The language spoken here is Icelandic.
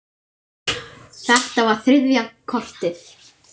Þetta var þriðja kortið.